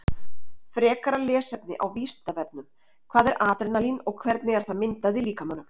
Frekara lesefni á Vísindavefnum Hvað er adrenalín og hvernig er það myndað í líkamanum?